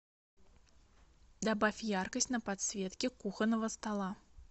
добавь яркость на подсветке кухонного стола